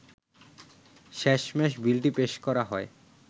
শেষমেশ বিলটি পেশ করা হয়